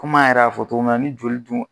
Komi an yɛrɛ y'a fɔ cogo min na ni joli dun